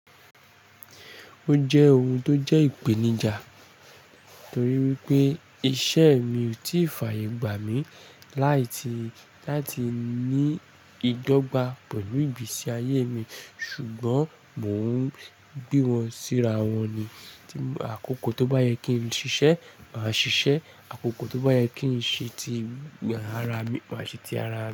Ó jẹ́ ohun tó jẹ́ ìpèníjà torí wípé iṣẹ́ mi ò tí ì fààyè gbà mí láì tí láti ní ìdọ́gba pẹ̀lú ìgbésí ayé mi ṣùgbọ́n mò ń gbé wọn síra wọn ní. Àkókò tó bá yẹ kí n ṣiṣẹ́, màá ṣiṣẹ́. Àkókò tó bá yẹ kí n ṣe ti ara mi, màá ṣe ti ara mi.